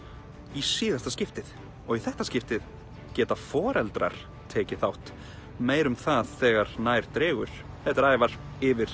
í síðasta skiptið og í þetta skiptið geta foreldrar tekið þátt meira um það þegar nær dregur þetta er Ævar yfir